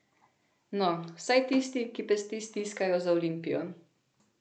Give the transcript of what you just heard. No, vsaj tisti, ki pesti stiskajo za Olimpijo.